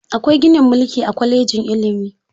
Akwai ginin mulki a kwalejin ilimi.